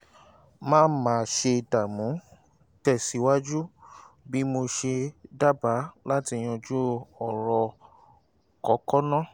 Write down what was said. má má ṣe dààmú tẹ̀síwájú bí mo ṣe dábàá láti yanjú ọ̀rọ̀ kókó náà